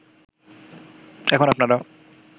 এখন আপনারা